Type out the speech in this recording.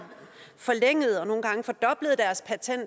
forlænget og nogle